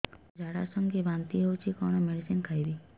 ମୋର ଝାଡା ସଂଗେ ବାନ୍ତି ହଉଚି କଣ ମେଡିସିନ ଖାଇବି